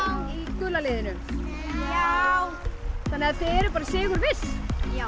gula liðinu já þannig að þið eruð bara sigurviss já